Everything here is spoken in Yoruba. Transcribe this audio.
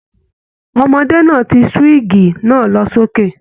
Ọmọdé náà tí suwigi náà lọ sókè.